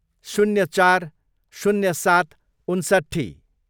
शून्य चार, शून्य सात, उन्सट्ठी